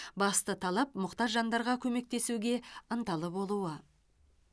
басты талап мұқтаж жандарға көмектесуге ынталы болуы